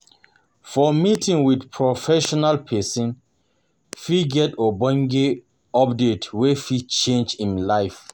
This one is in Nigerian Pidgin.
For meeting with professional persin fit get ogbonge update wey fit change im life